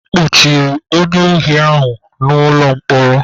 A kpọchiri onye ohi ahụ n'ụlọ mkpọrọ.